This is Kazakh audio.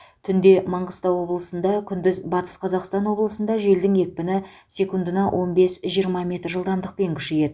түнде манғыстау облысында күндіз батыс қазақстан облысында желдің екпіні секундына он бес жиырма метр жылдамдықпен күшейеді